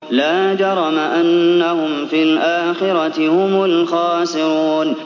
لَا جَرَمَ أَنَّهُمْ فِي الْآخِرَةِ هُمُ الْخَاسِرُونَ